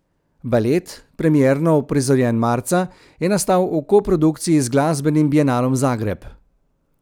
Balet, premierno uprizorjen marca, je nastal v koprodukciji z Glasbenim bienalom Zagreb.